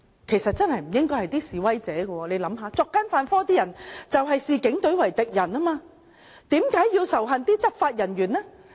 其實真的不應是示威者，大家想想，作奸犯科的人才視警隊為敵人，為何要仇恨執法人員呢？